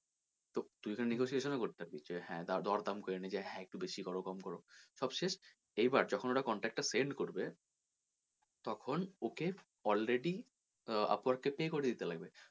তুই ওখানে negotiation ও করতে পারবি যে হ্যাঁ দর দাম করে নিলি যে হ্যাঁ একটু বেশি করো কম করো। সব শেষ এইবার যখন ওরা contract টা send করবে তখন ওকে already upwork কে pay করে দিতে লাগবে।